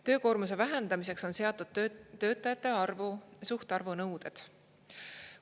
Töökoormuse vähendamiseks on seatud töötajate arvu, suhtarvu nõuded.